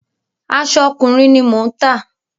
Aṣọ ọkùnrin ni mò ń tà.